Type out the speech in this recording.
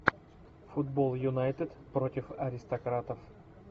футбол юнайтед против аристократов